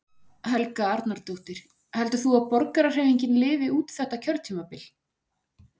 Helga Arnardóttir: Heldur þú að Borgarahreyfingin lifi út þetta kjörtímabil?